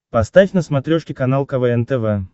поставь на смотрешке канал квн тв